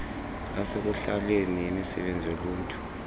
yasekuhlaleni yemisebenzi yoluntu